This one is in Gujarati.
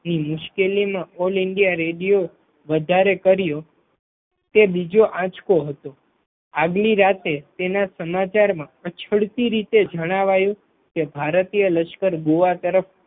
મુશ્કેલીમાં ઓલ ઇન્ડિયા રેડિયો વધારે કર્યું તે બીજો આંચકો હતો આગલી રાતે તેના સમાચારમાં અચળ રીતે જણાવાયું કે ભારતીય લશ્કર ગોવા તરફ